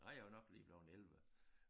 Nej jeg var nok lige blevet 11